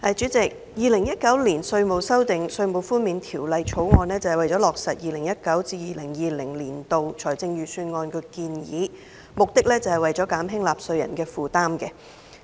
主席，《2019年稅務條例草案》旨在落實 2019-2020 年度財政預算案的建議，以減輕納稅人的負擔。